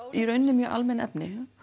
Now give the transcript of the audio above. í raun mjög almenn efni